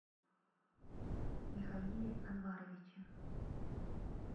михаиле анваровиче